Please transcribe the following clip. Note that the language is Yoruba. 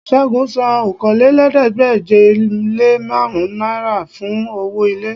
Ṣẹ́gun san Okòólélẹ́ẹ̀ẹ́dégbèje-le-márùn náírà fún owó ilé